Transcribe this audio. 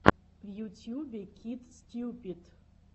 в ютьюбе кит стьюпид